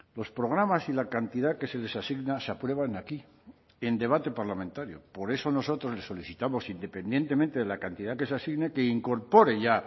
los programas y la cantidad que se les asigna se aprueban aquí en debate parlamentario por eso nosotros le solicitamos independientemente de la cantidad que se asigne que incorpore ya